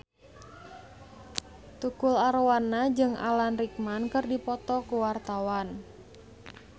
Tukul Arwana jeung Alan Rickman keur dipoto ku wartawan